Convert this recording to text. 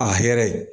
A hɛrɛ